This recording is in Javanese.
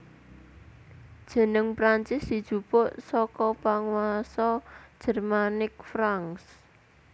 Jeneng Prancis dijupuk saka panguwasa Jermanik Franks